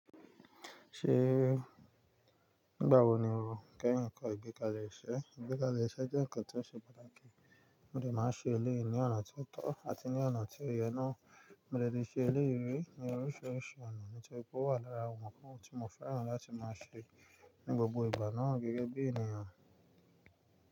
Ṣé nígbà wo ni o kẹ́yìn kọ́ ìgbékalé iṣẹ́? Ìgbékalé iṣẹ́ jẹ́ ǹkan tó ṣe pàtàkì, mo dè máa ṣe eléyìí ní ọ̀nà tó tọ́ àti ní ọ̀nà tí ó yẹ náà, mo dè lè ṣe eléyìí rí ní oríṣiríṣi ọ̀nà, nítorí pé ó wà lára àwọn ǹkan tí mo fẹ́ràn láti máa ṣe ní gbogbo ìgbà náà gẹ́gẹ́ bí ènìyàn.